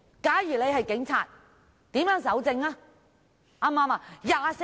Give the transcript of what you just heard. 假如他是警察，如何搜證？